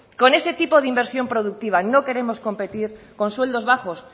con ese tipo de inversión productiva no queremos competir con sueldos bajos